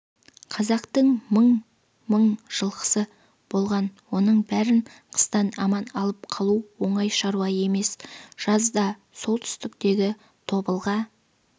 қазақтың мың-мың жылқысы болған оның бәрін қыстан аман алып қалу оңай шаруа емес жазда солтүстіктегі тобылға